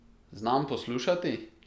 Znam poslušati?